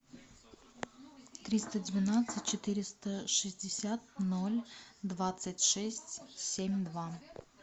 триста двенадцать четыреста шестьдесят ноль двадцать шесть семь два